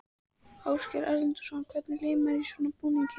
Ásgeir Erlendsson: Hvernig líður manni í svona búning?